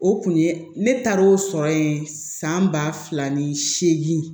O kun ye ne taar'o sɔrɔ ye san ba fila ni seegin